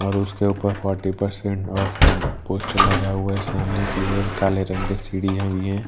और उसके ऊपर फ़ोटी पर्सेन्ट ऑफ का पोस्टर लगा हुआ है सामने की ओर काले रंग के सीढ़ियां भी हैं।